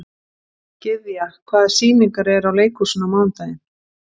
Gyðja, hvaða sýningar eru í leikhúsinu á mánudaginn?